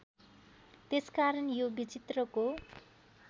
त्यसकारण यो विचित्रको